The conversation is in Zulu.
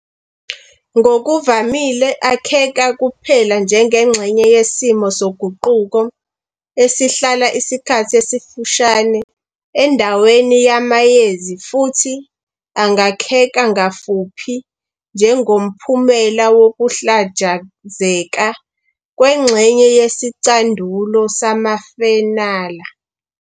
Ngokuvamile akheka kuphela njengengxenye yesimo soguquko esihlala isikhathi esifushane endaweni yamayezi futhi angakheka kafuphi njengomphumela wokuhlajazeka kwengxenye yesicandulo samafenala.